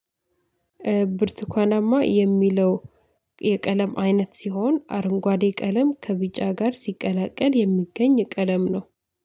ብርቱካናማ የሚለው የቀለም አይነት ሲሆን አረንጓዴ ቀለም ከቢጫ ጋር ሲቀላቀል የሚገኝ ቀለም ነው